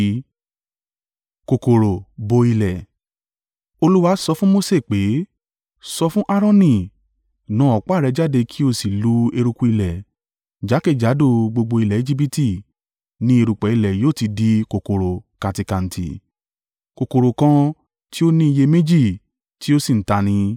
Olúwa sọ fún Mose pé, “Sọ fún Aaroni, ‘Na ọ̀pá rẹ jáde kí ó sì lu eruku ilẹ̀,’ jákèjádò gbogbo ilẹ̀ Ejibiti ni erùpẹ̀ ilẹ̀ yóò ti di kòkòrò-kantíkantí.” (Kòkòrò kan tí ó ní ìyẹ́ méjì tí ó ṣì ń ta ni.)